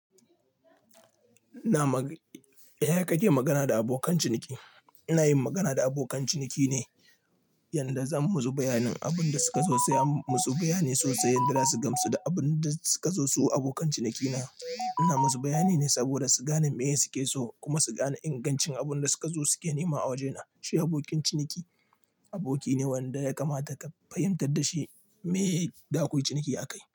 Na mag-- me kake magana da abokan ciniki? Ina yin magana da abokan ciniki ne, yanda za mu zo bayanin abun da suka zo, sai a mu su bayani susan yanda zasu gamsu da abun da suka zo su. Abokan cinikina, ina ma su bayani ne saboda su gane me suke so kuma su gane ingancin abun da suka zo suke nema a waje na. Shi abokin ciniki, aboki ne wanda ya kamata ka fahimtar da shi me da akwai ciniki a kai.